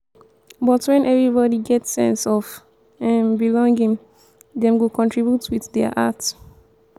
but wen everybody get sense of um belonging dem go contribute with dia heart.